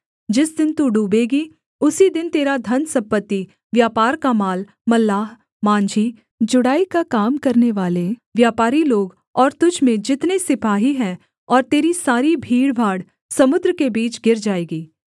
जिस दिन तू डूबेगी उसी दिन तेरा धनसम्पत्ति व्यापार का माल मल्लाह माँझी जुड़ाई का काम करनेवाले व्यापारी लोग और तुझ में जितने सिपाही हैं और तेरी सारी भीड़भाड़ समुद्र के बीच गिर जाएगी